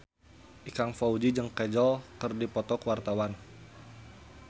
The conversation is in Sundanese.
Ikang Fawzi jeung Kajol keur dipoto ku wartawan